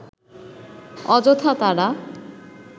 অযথা তারা